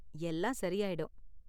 எல்லாம் சரி ஆயிடும்.